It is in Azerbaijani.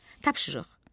Tapşırıq.